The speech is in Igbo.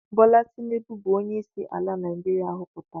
Bola Tinubu bu onye isi ala Naijiria hoputara.